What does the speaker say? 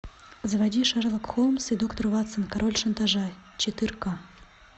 заводи шерлок холмс и доктор ватсон король шантажа четырка